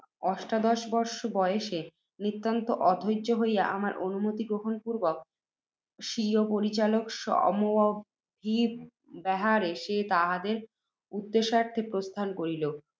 অষ্টাদশবর্ষ বয়সে, নিতান্ত অধৈর্য্য হইয়া, আমার অনুমতি গ্রহণ পূর্ব্বক, স্বীয় পরিচারক সমভিব্যাহারে, সে তাহাদের উদ্দেশার্থে প্রস্থান করিল।